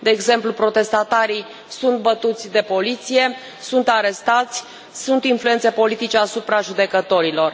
De exemplu, protestatarii sunt bătuți de poliție, sunt arestați, sunt influențe politice asupra judecătorilor.